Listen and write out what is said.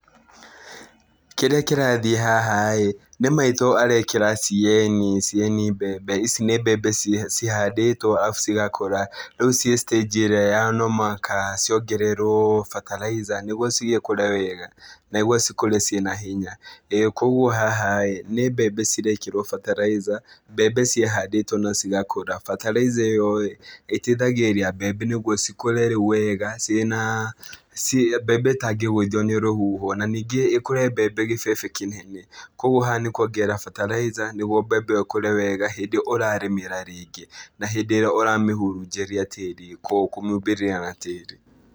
Kĩrĩa kĩrathiĩ haha-ĩ nĩ maitũ arekĩra CAN, CAN mbembe. Ici nĩ mbembe cihandĩtwo arabu cigakũra, rĩu ciĩ stage ĩrĩa ya no mũhaka ciongererwo bataraitha nĩguo cigĩkũre wega, na nĩguo cikũre ciĩna hinya. Ĩĩ kuoguo haha-ĩ nĩ mbembe cirekĩwo bataraitha, mbembe ciahandĩtwo na cigakũra bataraitha ĩyo-ĩ ĩteithagĩrĩria mbembe nĩguo cikũre rĩu wega cirĩ naa mbembe ĩtangĩgũithio nĩ rũhuho. Na, ningĩ ĩkũre mbembe gĩbebe kĩnene, kuoguo haha nĩ kuongerera bataraitha nĩguo mbembe ĩyo ĩkũre wega hĩndĩ ĩyo ũrarĩmĩra rĩngĩ na hĩndĩ ĩyo ũramĩhurunjĩria tĩri kũmĩhumbĩria na tĩri.